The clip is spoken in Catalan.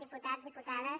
diputats diputades